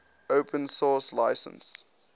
open source license